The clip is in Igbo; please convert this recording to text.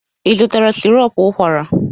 Ị zụtara sirop ụkwara?